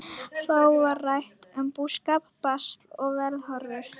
Þá var rætt um búskap, basl og veðurhorfur.